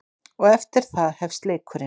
Og eftir það hefst leikurinn.